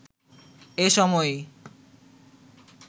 এ সময়ই